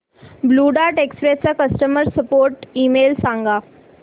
blue Dart Express चा customer support email सांग